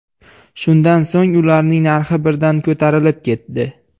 Shundan so‘ng ularning narxi birdan ko‘tarilib ketdi.